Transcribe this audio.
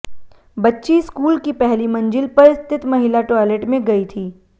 बच्ची स्कूल की पहली मंजिल पर स्थित महिला टॉइलेट में गई थी